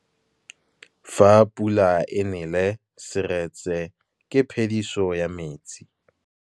Fa pula e nelê serêtsê ke phêdisô ya metsi.